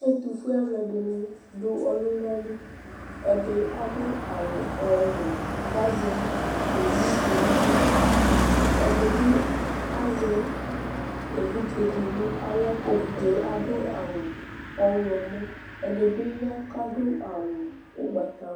Ɛtʋfue alʋɛdɩnɩ dʋ ɔlʋna li Ɛdɩ adʋ awʋ ɔwɛ kʋ azɛ owu dɩ nʋ aɣla Ɛdɩ bɩ azɛ evidze dɩ nʋ aɣla kʋ evidze yɛ adʋ awʋ ɔɣlɔmɔ, ɛdɩ bɩ ya kʋ adʋ awʋ ʋgbatawla